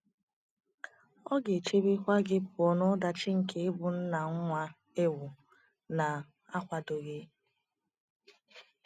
Ọ ga - echebekwa gị pụọ n’ọdachi nke ịbụ nna nwa ịwụ na akwadoghi